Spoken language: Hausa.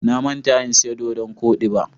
Na manta in siya doɗon koɗi ba.